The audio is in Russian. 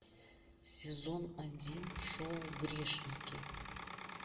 сезон один шоу грешники